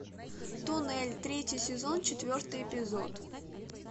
туннель третий сезон четвертый эпизод